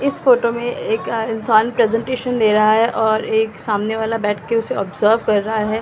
इस फोटो में एक इंसान प्रेजेंटेशन दे रहा है और एक सामने वाला बैठ के उसे ऑब्जर्व कर रहा है।